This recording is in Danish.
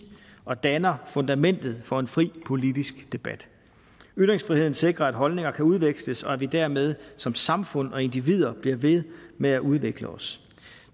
og danner fundamentet for en fri politisk debat ytringsfriheden sikrer at holdninger kan udveksles og at vi dermed som samfund og individer bliver ved med at udvikle os